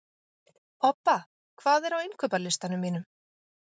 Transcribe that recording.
Obba, hvað er á innkaupalistanum mínum?